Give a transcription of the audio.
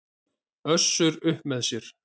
Össur upp með sér.